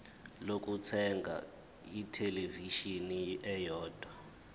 lokuthenga ithelevishini eyodwa